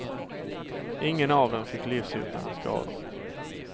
Ingen av dem fick livshotande skador.